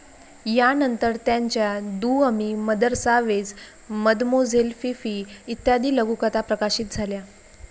यानंतर त्यांच्या दु Amis, Mother Savage, Mademoiselle Fifi, इत्यादी लघुकथा प्रकाशित झाल्या.